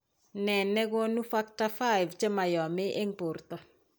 Ne ne konu Factor V chemoyome eng' borto?